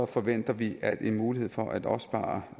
forventer vi at en mulighed for at opspare